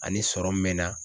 Ani sɔrɔ min bɛ n na